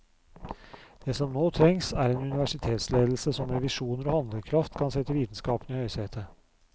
Det som nå trengs, er en universitetsledelse som med visjoner og handlekraft kan sette vitenskapen i høysetet.